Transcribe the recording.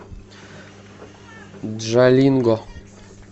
джалинго